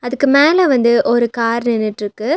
அதுக்கு மேல வந்து ஒரு கார் நின்னுட்ருக்கு.